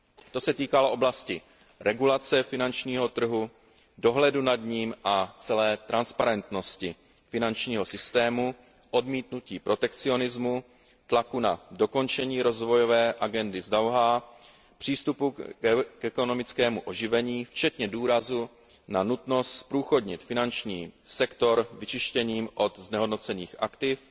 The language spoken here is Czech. To se týkalo oblasti regulace finančního trhu, dohledu nad ním a celé transparentnosti finančního systému, odmítnutí protekcionismu, tlaku na dokončení Rozvojové agendy z Dauhá, přístupu k ekonomickému oživení včetně důrazu na nutnost zprůchodnit finanční sektor vyčištěním od znehodnocených aktiv